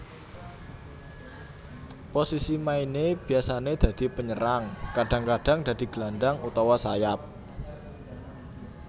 Posisi maine biasane dadi penyerang kadang kadang dadi gelandang utawa sayap